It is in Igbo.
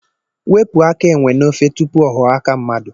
Wepụ aka enwe n'ofe, tupu ọ ghọọ aka mmadụ.